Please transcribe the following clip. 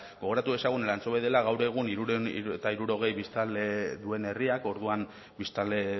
gogoratu dezagun elantxobe dela gaur egun hirurehun eta hirurogei biztanle duen herriak orduan biztanle